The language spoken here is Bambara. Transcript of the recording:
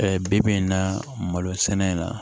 bi bi in na malo sɛnɛ in na